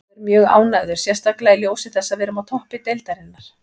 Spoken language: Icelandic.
Ég er mjög ánægður, sérstaklega í ljósi þess að við erum á toppi deildarinnar.